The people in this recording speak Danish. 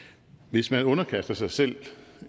hvis man underkaster sig selv